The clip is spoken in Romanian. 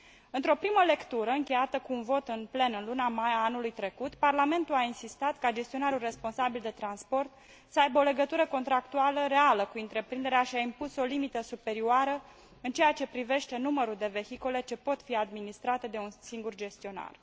Într o primă lectură încheiată cu un vot în plen în luna mai a anului trecut, Parlamentul a insistat ca gestionarul responsabil de transport să aibă o legătură contractuală reală cu întreprinderea și a impus o limită superioară în ceea ce privește numărul de vehicole ce pot fi administrate de un singur gestionar.